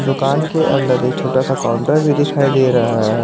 दुकान के अंदर एक छोटा सा काउंटर भी दिखाई दे रहा है।